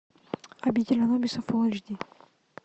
обитель анубиса фулл эйч ди